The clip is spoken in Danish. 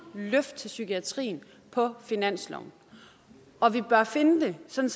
løft til psykiatrien på finansloven og vi bør finde det sådan